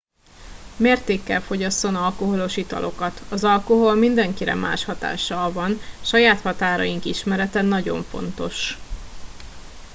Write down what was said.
mértékkel fogyasszon alkoholos italokat az alkohol mindenkire más hatással van saját határaink ismerete nagyon fontos